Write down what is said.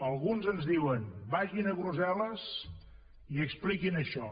alguns ens diuen vagin a brussel·les i expliquin això